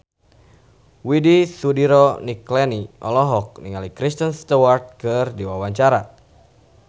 Widy Soediro Nichlany olohok ningali Kristen Stewart keur diwawancara